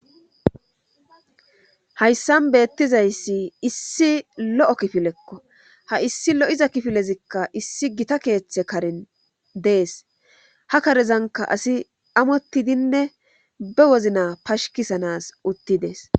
Hayssan beettizayssi issi lo'o kifilekko haissi lo'iza kifilezikka issi gita keeththe karin dees hakarezanka asi amottidinne bewozna pashkisanas uttidees.